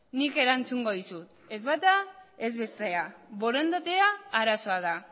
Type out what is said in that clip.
nik erantzungo dizut ez bata ez bestea borondatea arazoa da